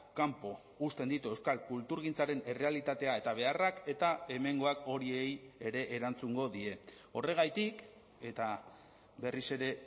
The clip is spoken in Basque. kanpo uzten ditu euskal kulturgintzaren errealitatea eta beharrak eta hemengoak horiei ere erantzungo die horregatik eta berriz ere